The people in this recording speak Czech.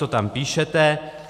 To tam píšete.